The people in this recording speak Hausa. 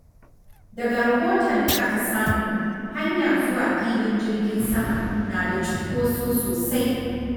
Daga rahoton da aka samu, hanya zuwa filin jirgin sama na da cunkoso sosai.